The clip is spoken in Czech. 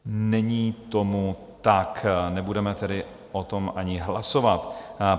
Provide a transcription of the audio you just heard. Není tomu tak, nebudeme tedy o tom ani hlasovat.